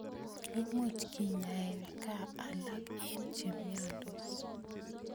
Imuch kenyae kaa alak eng' che miandos